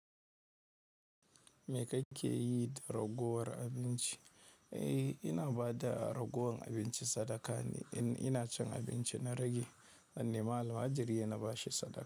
Me kake yi da ragowar abinci? Eh, ina ba da ragowar abinci sadaka ne in ina cin abinci na rage. Dan nema almajiri ne na ba shi sadaka.